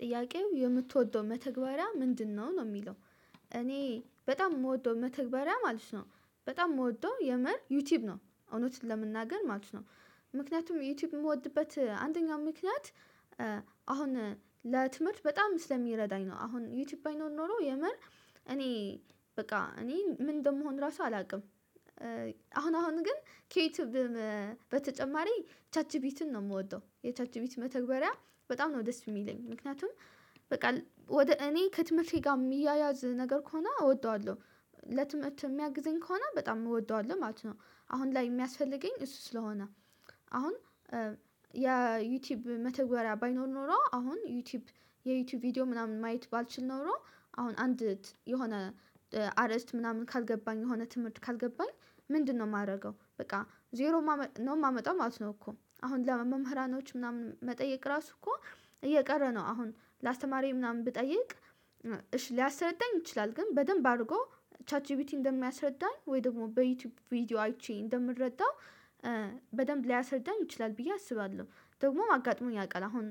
ጥያቄው የምትወደው መተግበሪያ ምንድነው ነው የሚለው? እኔ በጣም የምወደው መተግበሪያ ማለት ነው በጣም የምወደው የምር ዩቲዩብ ነው እውነት ለመናገር ማለት ነው። ምክንያቱም ዩቲዩብ የምወድበት አንደኛው ምክንያት። አሁን ለትምህርት በጣም ስለሚረዳኝ ነው አሁን ዩቲብ ባይኖር ኑሮ የምር እኔ በቃ እኔ ምን እንደምሆን ራሱ አላቅም። አሁን አሁን ግን ከዩቲዩብ በተጨማሪ ቻት ጂቢትን ነው የምወደው የቻት ጂቢት መተግበሪያ በጣም ነው ደስ የሚለኝ ምክንያቱም። በቃ ወደ እኔ ከትምህርቴ ጋር የሚያያዝ ነገር ከሆነ እወደዋለሁ። ለትምህርት የሚያግዝኝ ከሆነ በጣም እወደዋለሁ ማለት ነው። አሁን ላይ የሚያስፈልገኝ እሱ ስለሆነ አሁን ያ ዩቲብ መተግበሪያ ባይኖር ኖሮ አሁን ዩቲብ የዩቲዩብ ቪዲዮ ምናምን ማየት ባልችል ኖሮ። አሁን አንድ የሆነ አርእስት ምናምን ካልገባኝ የሆነ ትምህርት ካልገባኝ ምንድነው ማረገው በቃ ዜሮ ነው ማመጣው ማለት ነው እኮ አሁን ለመምህራኖች ምናምን መጠየቅ ራሱ እኮ። እየቀረ ነው አሁን ለአስተማሪዬ ምናምን ብጠይቅ እሺ ሊያስረዳኝ ይችላል ግን በደንብ አድርጎ ቻት ጂቢቲ እንደሚያስረዳኝ ወይ ደግሞ በዩቲዩብ ቪዲዮ አይቼ እንደምረዳው በደንብ ሊያሰርዳኝ ይችላል ብዬ አስባለሁ። ደግሞ አጋጥሞኝ ያውቃል አሁን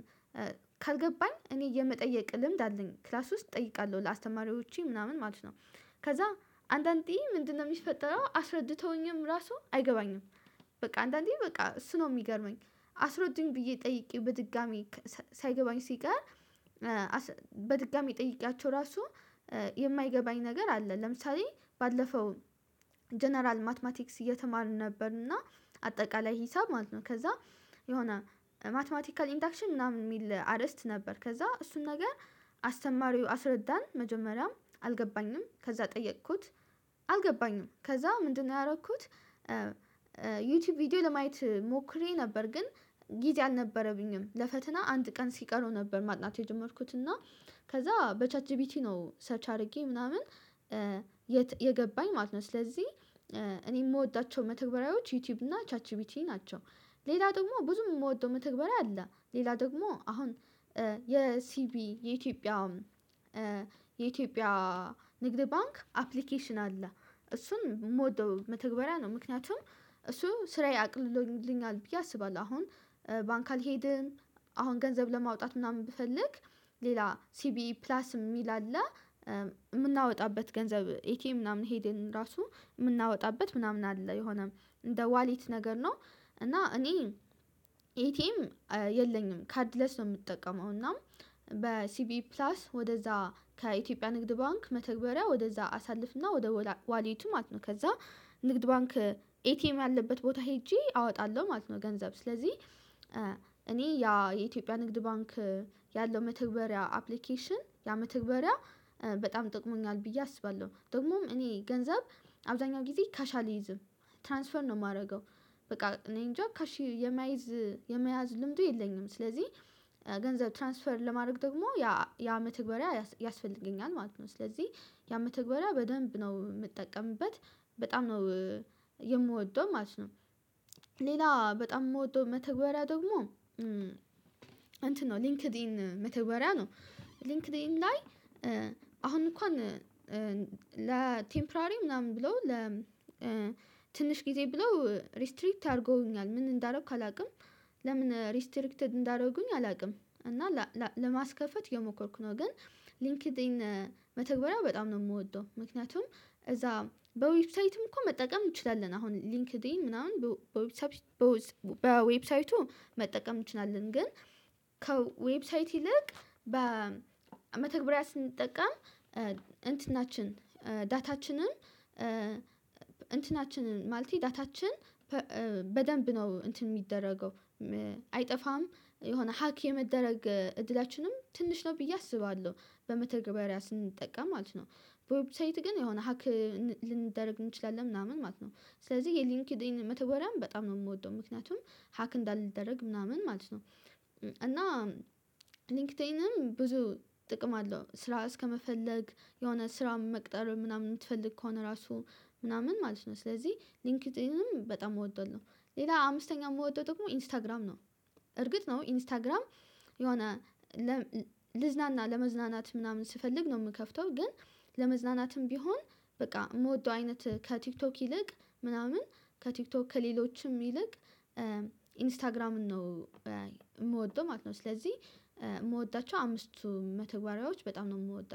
ካልገባኝ እኔ የመጠየቅ ልምድ አለኝ ክላስ ውስጥ እጠይቃለሁ ለአስተማሪዎቼ ምናምን ማለት ነው። ከዛ አንዳንዴ ምንድነው የሚፈጠረው አስረድተውኝም ራሱ አይገባኝም። በቃ አንዳንዴ በቃ እሱ ነው የሚገርመኝ። አስሮዱኝ ብዬ ጠይቄ በድጋሜ ሳይገባኝ ሲቀር በድጋሜ ጠይቅያቸው ራሱ የማይገባኝ ነገር አለ። ለምሳሌ ባለፈው ጀነራል ማትማቲክስ እየተማርን ነበርና አጠቃላይ ሂሳብ ማለት ነው ከዛ የሆነ ማትማቲካል ኢንዳክሽን ምናምን የሚል አርዕስት ነበር ከዛ እሱን ነገር አስተማሪው አስረዳን መጀመሪያም አልገባኝም ከዛ ጠየኩት አልገባኝም ከዛ ምንድነው ያረኩት? ዩቲዩብ ቪዲዮ ለማየት ሞክሬ ነበር ግን ጊዜ አልነበረብኝም ለፈተና አንድ ቀን ሲቀረው ነበር ማጥናት የጀመርኩት እና ከዛ በቻት ጂቢቲ ነው ሰርች አድርጌ ምናምን የገባኝ ማለት ነው። ስለዚህ እኔ የምወዳቸው መተግበሪያዎች ዩቲዩብ እና ቻት ጂቢቲ ናቸው። ሌላ ደግሞ ብዙም የምወደው መተግበሪያ አለ ሌላ ደግሞ አሁን የሲቢ የኢትዮጵያ የኢትዮጵያ ንግድ ባንክ አፕሊኬሽን አለ። እሱን የምወደው መተግበሪያ ነው ምክንያቱም እሱ ስራዬ አቅሎልኛል ብዬ አስባለሁ። አሁን ባንክ አልሄድም አሁን ገንዘብ ለማውጣት ምናምን ብፈልግ ሌላ ሲቢኢ ፕላስ የሚል አለ እምናወጣበት ገንዘብ ኤቲኤም ምናምን ሄደን እምናወጣበት ምናምን አለ የሆነ እንደ ዋሌት ነገር ነው። እና እኔ ኤቴ ኤም የለኝም ካርድለስ ነው የምጠቀመው እና በሲቢኢ ፕላስ ወደዛ ከኢትዮጵያ ንግድ ባንክ መተግበሪያ ወደዛ አሳልፍና ወደ ዋሌቱ ማለት ነው ከዛ ንግድ ባንክ ኤቲኤም ያለበት ቦታ ሄጄ አወጣለሁ ማለት ነው። ገንዘብ ስለዚህ እኔ ያ የኢትዮጵያ ንግድ ባንክ ያለው መተግበሪያ አፕሊኬሽን ያ መተግበሪያ በጣም ጠቅሞኛል ብዬ አስባለሁ ደግሞም እኔ ገንዘብ አብዛኛው ጊዜ ካሽ አልይዝም ትራንስፈር ነው ማረገው። በቃ እኔ እንጃ ካሽ የማይዝ የመያዝ ልምዱ የለኝም ስለዚህ ገንዘብ ትራንስፈር ለማረግ ደግሞ ያ መተግበርያ ያስፈልገኛል ማለት ነው። ስለዚህ ያ መተግበርያ በደንብ ነው ምጠቀምበት በጣም ነው የምወደው ማለት ነው። ሌላ በጣም የምወደው መተግበርያ ደግሞ እንትን ነው ሊንክድን መተግበሪያ ነው። ሊንክድን ላይ አሁን እንኳን ለቴምፐራሪ ምናምን ብለው ለትንሽ ጊዜ ብሎ ሪስትሪክት አርጎውኛል ምን እንዳረኩ አላውቅም። ለምን ሪስትሪክትድ እንዳረጉኝ አላውቅም። እና ለማስከፈት የሞከርኩ ነው ግን ሊንክድን መተግበሪያ በጣም ነው የምወደው ምክንያቱም እዛ በዌብሳይትም እኮ መጠቀም እንችላለን አሁን ሊንክድን ምናምን በዌብሳይቱ መጠቀም እንችላለን ግን ከዌብሳይት ይልቅ በመተግበሪያ ስንጠቀም እንትናችን ዳታችንን እንትናችንን ማለቴ ዳታችን በደንብ ነው እንትን ሚደረገው አይጠፋም የሆነ ሀክ የመደረግ እድላችንም ትንሽ ነው ብዬ አስባለሁ። በመተግበሪያ ስንጠቀም ማለት ነው በዌብሳይት ግን የሆነ ሀክ ልንደረግ እንችላለን ምናምን ማለት ነው። ስለዚህ የሊንክዲን መተግበሪያም በጣም ነው የምወደው ምክንያቱም ሀክ እንዳልደረግ ምናምን ማለት ነው። እና ሊንክድንም ብዙ ጥቅም አለው ስራ እስከመፈለግ የሆነ ስራ መቅጠር ምናምን የምትፈልግ ከሆነ ራሱ ምናምን ማለት ነው ስለዚህ ሊንክድንም በጣም እወድዋለው። ሌላ አምስተኛ የምወደው ደግሞ ኢንስታግራም ነው። እርግጥ ነው ኢንስታግራም የሆነ ልዝናና ለመዝናናት ምናምን ስፈልግ ነው ምከፍተው ግን ለመዝናናትም ቢሆን በቃ እምወደው አይነት ከቲክቶክ ይልቅ ምናምን ከቲክቶክ ከሌሎችም ይልቅ ኢንስታግራምን ነው እምወደው ማለት ነው። ስለዚህ የምወዳቸው አምስቱ መተግባሪያዎች በጣም ነው እምወዳቸው